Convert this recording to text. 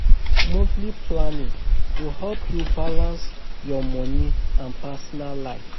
Monthly planning go help yu balance yur moni and personal life.